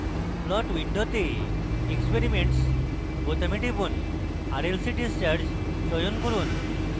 plot window experiments বোতামে টিপুন rlc discharge চয়ন করুন